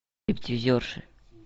стриптизерши